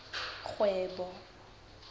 kgwebo